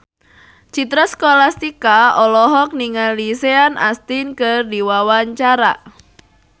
Citra Scholastika olohok ningali Sean Astin keur diwawancara